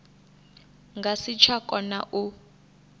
nga si tsha kona u